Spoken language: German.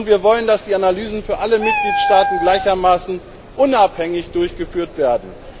Wir wollen, dass die Analysen für alle Mitgliedstaaten gleichermaßen unabhängig durchgeführt werden.